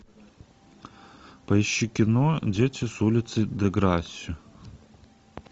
поищи кино дети с улицы деграсси